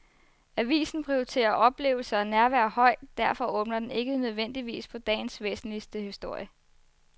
Avisen prioriterer oplevelse og nærvær højt, derfor åbner den ikke nødvendigvis på dagens væsentligste historie.